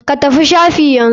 Ka tafi shafi yanzu.